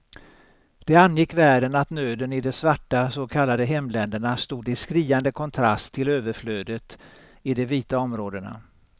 Det angick världen att nöden i de svarta så kallade hemländerna stod i skriande kontrast till överflödet i de vita områdena.